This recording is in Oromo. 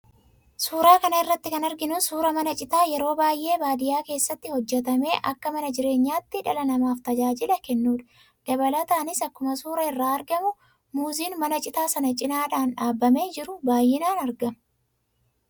Suuraa kana irratti kan arginu suuraa mana citaa yeroo baay'ee baadiyyaa keessatti hojjatamee, akka mana jireenyaatti dhala namaaf tajaajila kennudha. Dabalataanis akkuma suuraa irraa argamu, muuziin mana citaa sana cinaadhaan dhaabamee jiru baay'inaan argama.